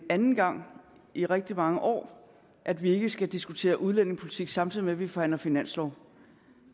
anden gang i rigtig mange år at vi ikke skal diskutere udlændingepolitik samtidig med at vi forhandler finanslov